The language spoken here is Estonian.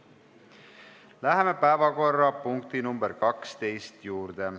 Läheme päevakorrapunkti nr 12 juurde.